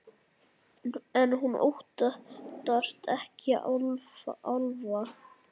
En hún óttast ekki álfa.